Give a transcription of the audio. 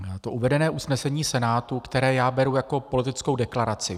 To uvedené usnesení Senátu, které já beru jako politickou deklaraci.